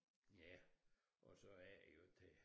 Ja og så er det jo det